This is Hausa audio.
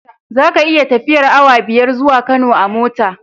Zaka iya tafiyar awa biyar zuwa Kano a mota